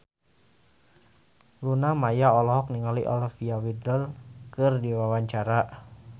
Luna Maya olohok ningali Olivia Wilde keur diwawancara